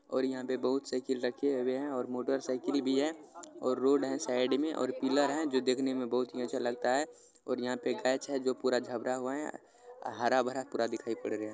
--और यहाँ पे बहुत साइकिल रखे हुए है और मोटरसाइकिल भी है और रोड है साइड में और पिलर है जो देखना मे बहुत अच्छा लगता है और यहाँ पे हरा भरा पूरा दिखाई पद रहा है।